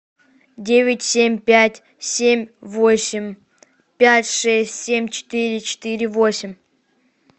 девять семь пять семь восемь пять шесть семь четыре четыре восемь